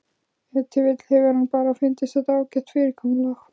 Ef til vill hefur honum bara fundist þetta ágætt fyrirkomulag.